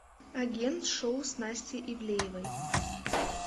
агент шоу с настей ивлеевой